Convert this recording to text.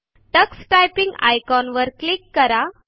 Tux typing icon वर click करा